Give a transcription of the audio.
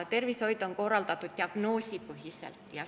Tervishoid on korraldatud diagnoosipõhiselt.